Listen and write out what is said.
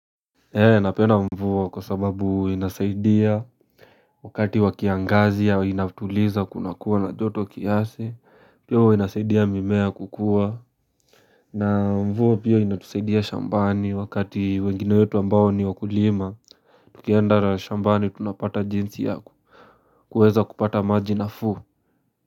Ee napenda mvua kwa sababu inasaidia Wakati wa kiangazi au inatuliza kunakua na joto kiasi Pia huwa inasaidia mimea kukua na mvua pia inatusaidia shambani wakati wengine wetu ambao ni wakulima Tukiendaga shambani tunapata jinsi yaku kuweza kupata maji nafuu.